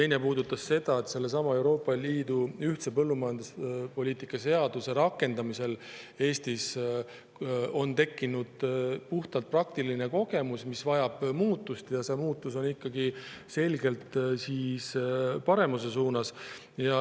Teine osa puudutab seda, et sellesama Euroopa Liidu ühise põllumajanduspoliitika seaduse rakendamisel Eestis on tekkinud puhtalt praktiline kogemus, mistõttu vajab muutmist, ja see muutus on ikkagi selgelt paremuse suunas.